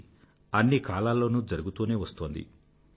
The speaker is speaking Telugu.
ఇది అన్ని కాలాల్లోనూ జరుగుతూనే వస్తోంది